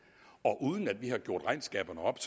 og uden at vi har gjort regnskaberne op